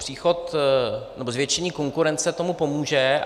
Příchod, nebo zvětšení konkurence tomu pomůže.